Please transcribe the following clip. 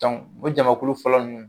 o jamakulu fɔlɔ ninnu